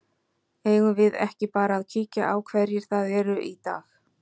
Eigum við ekki bara að kíkja á hverjir það eru í dag?